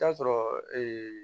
Taa sɔrɔ